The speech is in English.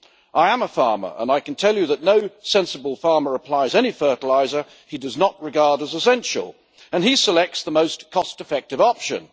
I am a farmer, and I can tell you that no sensible farmer applies any fertiliser he does not regard as essential, and he selects the most cost effective option.